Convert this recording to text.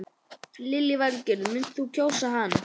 Lillý Valgerður: Muntu kjósa hann?